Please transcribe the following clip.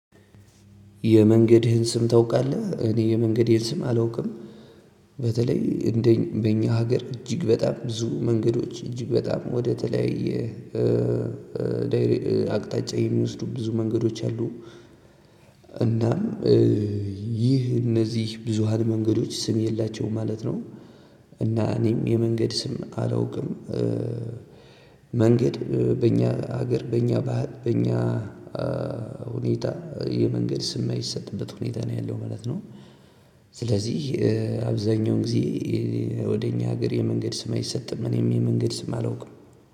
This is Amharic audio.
የመንገድህን ስም ታውቃለህ? እኔ የመንገዴን ስም አላውቅም። በተለይ እንደኛ በእኛ ሀገር እጅግ በጣም ብዙ መንገዶች እጅግ በጣም ወደተለያየ- አቅጣጫ የሚወስዱ ብዙ መንገዶች አሉ። እናም ይህ እነዚህ ብዙሃን መንገዶች ስም የላቸውም ማለት ነው። እና እኔም የመንገድ ስም አላውቅም። መንገድ በእኛ ሀገር በእኛ ባህል በእኛ ሁኔታ የመንገድ ስም የማይሰጥበት ሁኔታ ነው ያለው ማለት ነው። ስለዚህ- አብዛኛውን ጊዜ ወደ እኛ ሀገር የመንገድ ስም አይሰጥም። እኔም የመንገድ ስም አላውቅም።